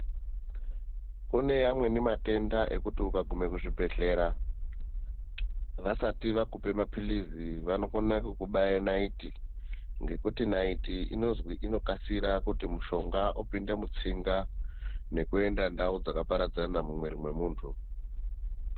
Kune amweni matenda ekuti ukagume kuzvibhehlera vasati vakupe maphirizi vanokone kukubaya naiti ngekuti naiti inozwi inokasira kuti mushonga upinde mutsinga nekuenda ndau dzakaparadzana mumwiri memuntu.